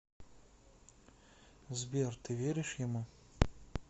сбер ты веришь ему